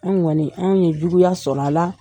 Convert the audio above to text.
An kɔni ,an ye juguya sɔrɔ a la.